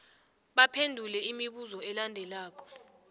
baphendule imibuzo elandelako